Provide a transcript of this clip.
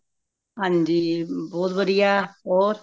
ਹਾਂਜੀ ਬਹੁਤ ਵਧੀਆ ਹੋਰ